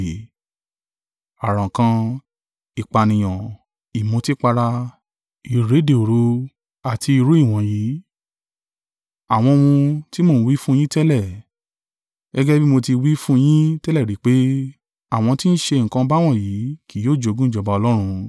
Àrankàn, ìpànìyàn, ìmutípara, ìréde òru, àti irú ìwọ̀nyí; àwọn ohun tí mo ń wí fún yín tẹ́lẹ̀, gẹ́gẹ́ bí mo ti wí fún yín tẹ́lẹ̀ rí pé, àwọn tí ń ṣe nǹkan báwọ̀nyí kì yóò jogún ìjọba Ọlọ́run.